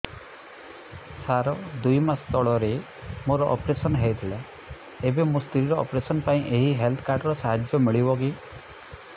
ସାର ଦୁଇ ମାସ ତଳରେ ମୋର ଅପେରସନ ହୈ ଥିଲା ଏବେ ମୋ ସ୍ତ୍ରୀ ର ଅପେରସନ ପାଇଁ ଏହି ହେଲ୍ଥ କାର୍ଡ ର ସାହାଯ୍ୟ ମିଳିବ କି